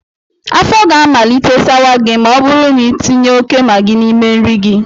Afọ ga amalite sawa gị ma ọ bụrụ na ị tinye óké Magị n'ime nri gị